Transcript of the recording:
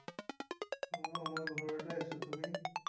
অ, মই ঘৰতে আছোঁ, তুমি?